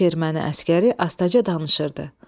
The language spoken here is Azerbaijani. Üç erməni əsgəri astaca danışırdı.